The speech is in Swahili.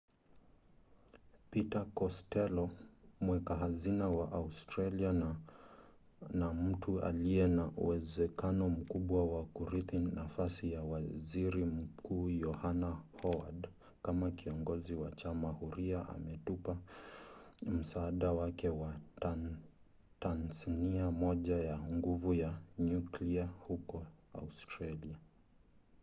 peter kostello mweka hazina wa australia na mtu aliye na uwezekano mkubwa wa kurithi nafasi ya waziri mkuu yohana howad kama kiongozi wa chama huria ametupa msaada wake kwa tasnia moja ya nguvu za nyuklia huko australia